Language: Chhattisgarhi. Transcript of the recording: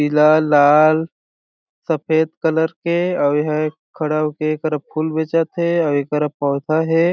पीला लाल सफेद कलर के अउ एहा ए खड़ा हो के एक तरफ फूल बेचत हे अउ ए करा पौधा हे।